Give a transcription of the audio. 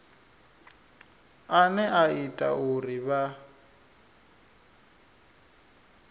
ane a ita uri vha